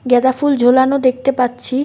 গ্যাঁদা ফুল ঝোলানো দেখতে পাচ্ছি।